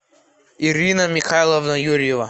ирина михайловна юрьева